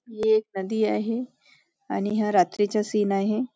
ही एक नदी आहे आणि हा रात्रीचा सीन आहे.